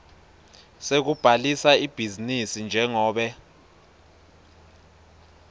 sekubhalisa ibhizinisi njengobe